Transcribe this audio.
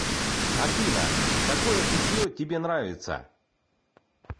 афина какое питье тебе нравится